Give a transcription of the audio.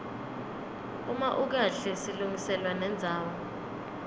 uma ukahle silungiselwa nendzawo